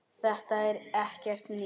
Þetta er ekkert nýtt.